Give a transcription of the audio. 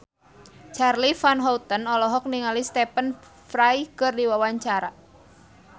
Charly Van Houten olohok ningali Stephen Fry keur diwawancara